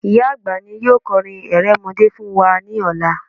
Ìyá àgbà ni yóò kọrin erémọdé fún wa ní ọlá